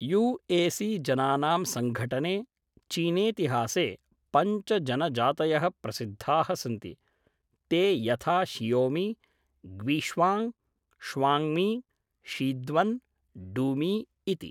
युएसीजनानां सङ्घटने, चीनेतिहासे पञ्च जनजातयः प्रसिद्धाः सन्ति, ते यथा शियौमि, ग्वीश्वाङ्ग्, श्वाङ्ग्मी, शीद्वन्, डूमि इति।